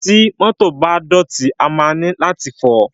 Ti mọ́tọ̀ bá ti dọ̀tí, a máa nílò láti fọ̀ọ́.